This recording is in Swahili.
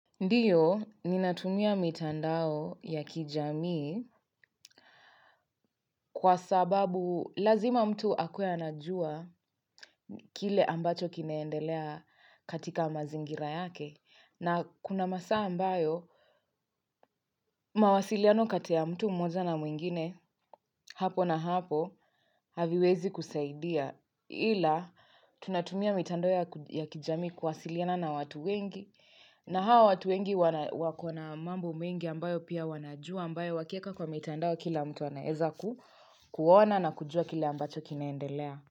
Ndiyo, ninatumia mitandao ya kijamii kwa sababu lazima mtu akuwe anajua kile ambacho kinaendelea katika mazingira yake na kuna masaa ambayo mawasiliano kati ya mtu mmoja na mwingine hapo na hapo haviwezi kusaidia. Ila tunatumia mitandao ya kijamii kuwasiliana na watu wengi na hao watu wengi wakona mambo mengi ambayo pia wanajua ambayo wakieka kwa mitandao kila mtu anaeza kuona na kujua kile ambacho kinaendelea.